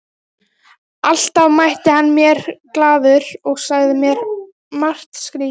Alltaf mætti hann mér glaður og sagði mér margt skrýtið.